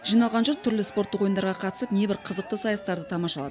жиналған жұрт түрлі спорттық ойындарға қатысып небір қызықты сайыстарды тамашалады